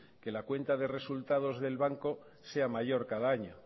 que la cuenta de resultados del banco sea mayor cada año